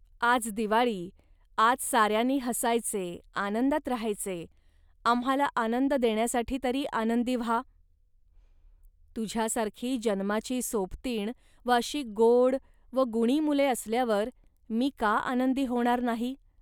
आज दिवाळी, आज साऱ्यांनी हसायचे, आनंदात राहायचे, आम्हांला आनंद देण्यासाठी तरी आनंदी व्हा. तुझ्यासारखी जन्माची सोबतीण व अशी गोड व गुणी मुले असल्यावर मी का आनंदी होणार नाही